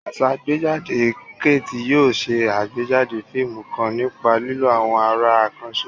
Asàgbéjáde Kate yóò ṣe àgbéjáde fíìmù kan nípa lílo àwọn àrà àkànṣe.